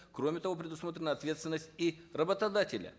кроме того предусмотрена ответственность и работодателя